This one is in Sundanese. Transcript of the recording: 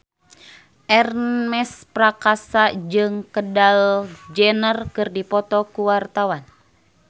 Ernest Prakasa jeung Kendall Jenner keur dipoto ku wartawan